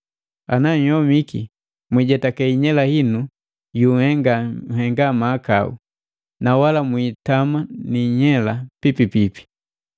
Ana nhyomiki, mwijetake inyela inu yunhenga nhenga mahakau, na wala mwiitama ni inyela pipipipi.